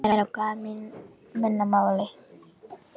Hvað þýðir það á mannamáli?